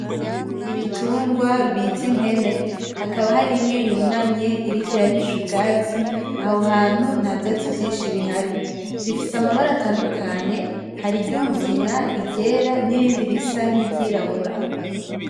Ibitungwa bita impene, hakaba hari imwe yunamye iriko irarisha ubwatsi, aho hantu nta vyatsi vyinshi bihari. Zifise amabara atandukanye, hari iry'umugina, iryera nirindi risa niryirabura.